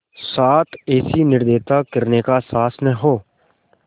साथ ऐसी निर्दयता करने का साहस न हो